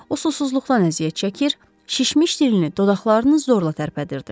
O susuzluqdan əziyyət çəkir, şişmiş dilini, dodaqlarını zorla tərpədirdi.